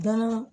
Bagan